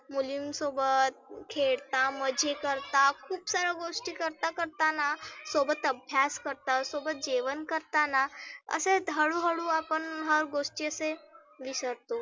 मुलीं सोबत खेळता मजे करता खुप सार्या गोष्टी करता करता ना सोबत अभ्यास करता, सोबत जेवण करताना असेच हळु हळू आपण हा गोष्टी असे विसरतो.